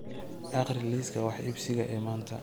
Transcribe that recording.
akhri liiska wax iibsiga ee maanta